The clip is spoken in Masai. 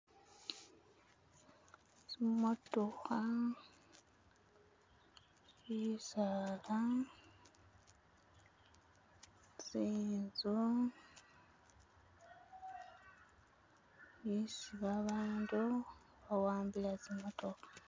Tsimotokha, bisaala tsinzu esi babandu bawambile tsi motokha